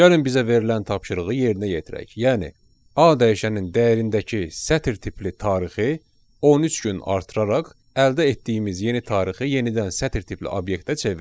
Gəlin bizə verilən tapşırığı yerinə yetirək, yəni A dəyişənin dəyərindəki sətr tipli tarixi 13 gün artıraraq əldə etdiyimiz yeni tarixi yenidən sətr tipli obyektə çevirək.